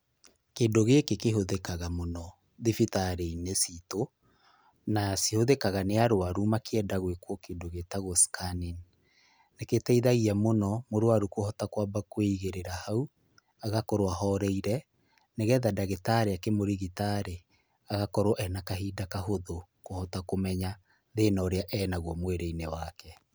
Kĩndũ gĩkĩ kĩhũthĩkaga mũno thibitarĩ-inĩ ciitũ. Na cihũthĩkaga nĩ arũaru makĩenda gwĩkwo kĩndũ gĩtagwo scan. Nĩ gĩteithagia mũno mũrwaru kũhota kwamba kwĩigĩrĩra hau, agakorwo ahorerire, nĩgetha ndagĩtarĩ akĩmũrigita rĩ agakorwo ena kahinda kahũthũ kũhota kũmenya thĩna ũrĩa ena guo mwĩrĩ-inĩ wake.